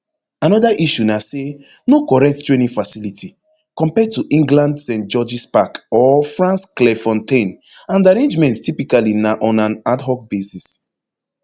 anoda issue na say no correct training facility compared to england st georges park or france clairefontaine and arrangements typically na on an adhoc basis